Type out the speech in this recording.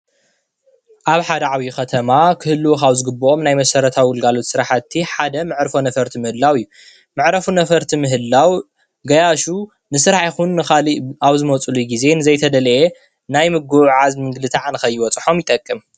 ኣብ ሓደ ዓብዪ ኸተማ ክህልዉ ካብ ዝግብኦም ናይ መሰረታዊ ግልጋሎት ስራሕቲ ሓደ መዕርፎ ነፈርቲ ምህላው እዩ፡፡ መዕርፎ ነፈርቲ ምህላው ገያሹ ንስራሕ ይኹን ንኻልእ ኣብ ዝመፁሉ ግዜ ንዘይተደለየ ናይ ምጉዕዓዝ ምንግልታዕ ንኸይበፅሖም ይጠቅም፡፡